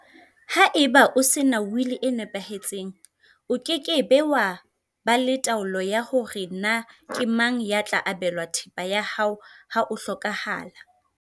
Haeba o sena wili e nepahetseng, o ke ke wa ba le taolo ya hore na ke mang ya tla abelwa thepa ya hao ha o hlokaha la.